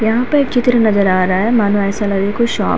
यहाँ पे एक चित्र नजर आ रहा है मानो ऐसा लग रहा है कोई शॉप --